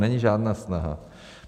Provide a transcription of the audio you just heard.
Není žádná snaha.